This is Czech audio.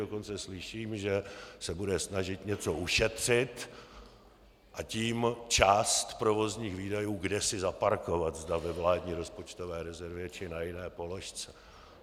Dokonce slyším, že se bude snažit něco ušetřit, a tím část provozních výdajů kdesi zaparkovat, zda ve vládní rozpočtové rezervě, či na jiné položce.